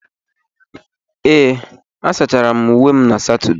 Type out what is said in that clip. Ee, asachara m uwe m na Satọde.